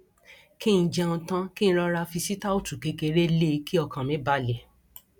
kí n jẹun tán kí n rọra fi sítáòtú kékeré lé e kí ọkàn mi balẹ